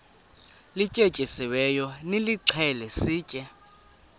lityetyisiweyo nilixhele sitye